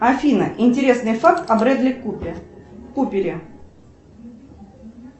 афина интересный факт о брэдли купере